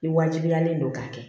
Ni wajibiyalen don k'a kɛ